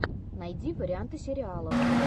найди варианты сериалов